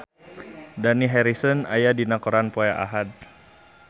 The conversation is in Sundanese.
Dani Harrison aya dina koran poe Ahad